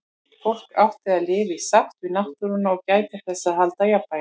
Fólk átti að lifa í sátt við náttúruna og gæta þess að halda jafnvæginu.